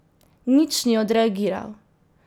Nič ni odreagiral.